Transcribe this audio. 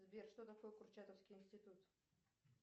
сбер что такое курчатовский институт